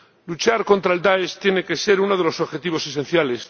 Luchar contra Daesh tiene que ser uno de los objetivos esenciales.